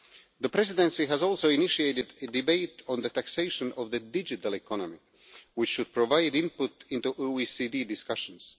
The Presidency has also initiated a debate on the taxation of the digital economy, which should provide input into OECD discussions.